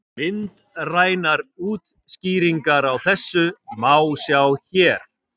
Myndrænar útskýringar á þessu má sjá hér.